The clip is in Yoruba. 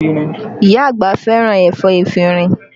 Iya àgbà fẹ́ràn ẹ̀fọ́ efinrin